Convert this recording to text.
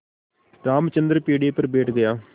रामचंद्र पीढ़े पर बैठ गया